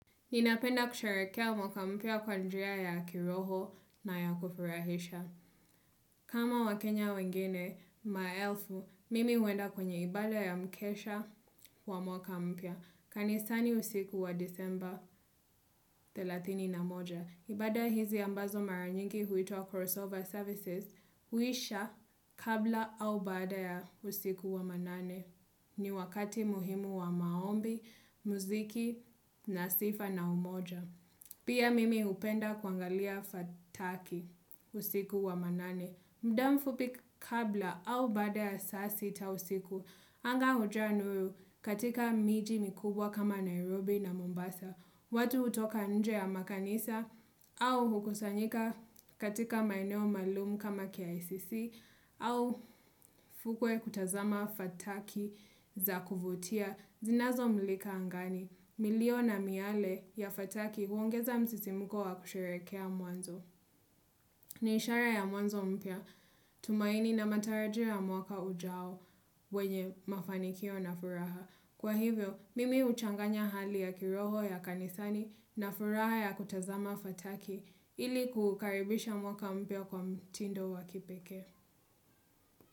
Ninapenda kusherekea mwaka mpya kwa njia ya kiroho na ya kufurahisha. Kama wakenya wengine, maelfu, mimi huenda kwenye ibada ya mkesha wa mwaka mpya. Kanisani usiku wa disemba thelathini na moja. Ibada hizi ambazo mara nyingi huitwa crossover services, huisha kabla au baada ya usiku wa manane. Ni wakati muhimu wa maombi, muziki, nasifa na umoja. Pia mimi hupenda kuangalia fataki usiku wa manane. Mdamfupi kabla au baada ya saa sita usiku. Anga hujaa nuru katika miji mikubwa kama Nairobi na Mombasa. Watu hutoka nje ya makanisa au hukusanyika katika maeneo malumu kama KICC. Au fukwe kutazama fataki zakuvutia zinazo milika angani, milio na miale ya fataki huongeza msisimuko wa kusherekea mwanzo. Ni ishara ya mwanzo mpya, tumaini na matarajio ya mwaka ujao wenye mafanikio na furaha. Kwa hivyo, mimi uchanganya hali ya kiroho ya kanisani na furaha ya kutazama fataki ili kukaribisha mwaka mpya kwa mtindo wa kipekee.